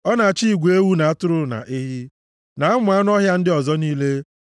Ọ na-achị igwe ewu na atụrụ, na ehi, na ụmụ anụ ọhịa ndị ọzọ niile,